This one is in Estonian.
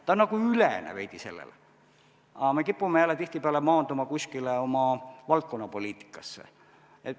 Ta on nagu veidi selle ülene, aga me kipume jälle tihtipeale maanduma kuskil oma valdkonnapoliitikas.